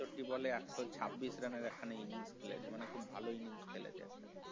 চউসাত্তি ball একশ ছাব্বিশ run একখান innings খেলেছে মানে খুব ভালো খেলেছে